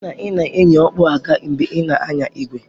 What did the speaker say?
hụ na ị na-eyi okpu agha mgbe ị na-anya igwe!